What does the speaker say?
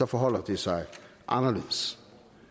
forholder det sig anderledes